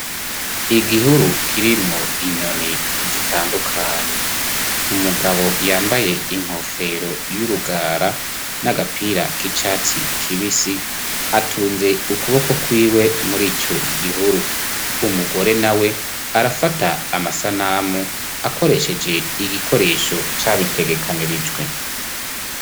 Igihuru kirimo inyoni zitandukanye, umugabo yambaye inkofero y'urugara n'agapira k'icyatsi kibisi atunze ukuboko kw'iwe muri ico gihuru. umugore nawe arafata amasanamu akoresheje igikoresho c'abitegekanirijwe.